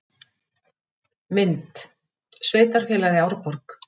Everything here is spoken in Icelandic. Mynd: Sveitarfélagið Árborg